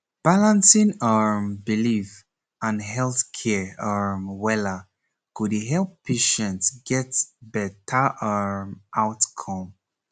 balancing um belief and health care um wella go dey help patient get better um outcome